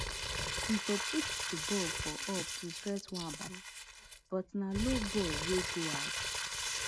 e for put di ball for up to stress nwabali but na low ball wey go out